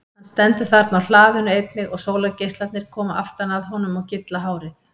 Hann stendur þarna á hlaðinu einnig og sólargeislarnir koma aftan að honum og gylla hárið.